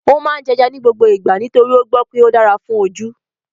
Ó máa ń jẹ́ ẹja ní gbogbo ìgbà nítorí ó gbọ́ pé ó dára fún ojú